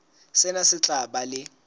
sena se tla ba le